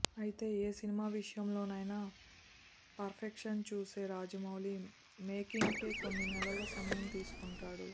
అయితే ఏ సినిమా విషయంలోనైనా పర్ఫెక్షన్ చూసే రాజమౌళి మేకింగ్కే కొన్ని నెలల సమయం తీసుకుంటాడు